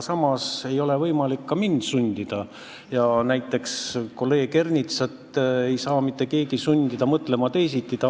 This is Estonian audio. Samas ei ole võimalik ka mind sundida ja näiteks kolleeg Ernitsat ei saa ka mitte keegi teisiti mõtlema sundida.